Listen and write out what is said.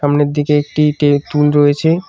সামনের দিকে একটি টে রয়েছে।